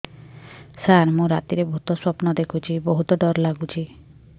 ସାର ମୁ ରାତିରେ ଭୁତ ସ୍ୱପ୍ନ ଦେଖୁଚି ବହୁତ ଡର ଲାଗୁଚି